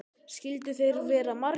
Skyldu þeir vera margir?